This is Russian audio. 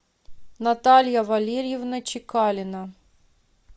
наталья валерьевна чекалина